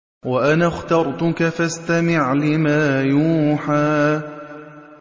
وَأَنَا اخْتَرْتُكَ فَاسْتَمِعْ لِمَا يُوحَىٰ